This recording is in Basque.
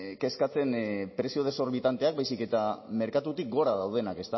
kezkatzen prezio desorbitanteak baizik eta merkatutik gora daudenak